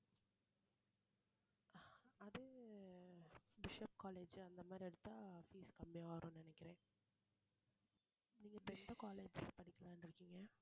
அது Bishop college அந்த மாதிரி எடுத்தா fees கம்மியா வரும்ன்னு நினைக்கிறேன் நீங்க இப்ப எந்த college படிக்கலாம்ன்னு இருக்கீங்க